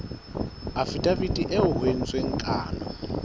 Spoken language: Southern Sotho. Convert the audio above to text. afidaviti eo ho entsweng kano